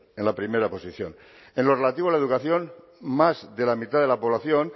en la primera posición en lo relativo a la educación más de la mitad de la población